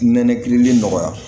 Nɛnɛ kiirili nɔgɔya